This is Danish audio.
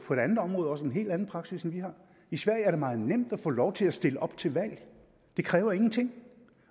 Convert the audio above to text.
andet område også en helt anden praksis end vi har i sverige er det meget nemt at få lov til at stille op til valg det kræver ingenting